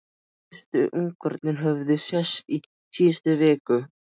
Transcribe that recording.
Fyrstu ungarnir höfðu sést í síðustu viku.